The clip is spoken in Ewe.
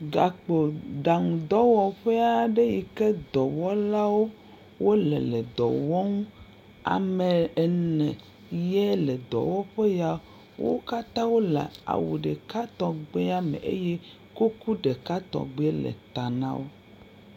Gakpoɖaŋudɔwɔƒe aɖe yi ke dɔwɔlawo wole le dɔ wɔm. Ame ene yele dɔwɔƒe ya. Wo katã wole awu ɖeka tɔgbi me eye kuku ɖeka tɔgbie le ta na wo.